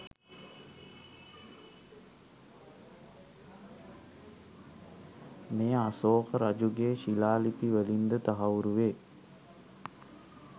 මෙය අසෝක රජුගේ ශිලාලිපි වලින් ද තහවුරු වේ.